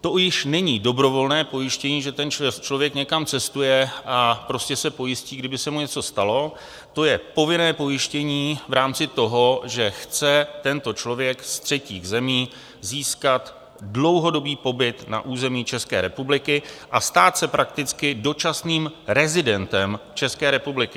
to již není dobrovolné pojištění, že ten člověk někam cestuje a prostě se pojistí, kdyby se mu něco stalo, to je povinné pojištění v rámci toho, že chce tento člověk z třetích zemí získat dlouhodobý pobyt na území České republiky a stát se prakticky dočasným rezidentem České republiky.